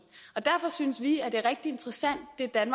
derfor synes vi at det er rigtig interessant